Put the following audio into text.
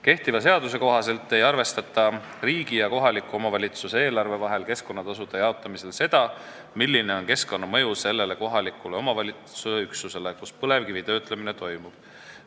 Kehtiva seaduse kohaselt ei arvestata riigi ja kohaliku omavalitsuse eelarve vahel keskkonnatasude jaotamisel seda, milline on keskkonnamõju sellele kohaliku omavalitsuse üksusele, kus põlevkivi töötlemine toimub.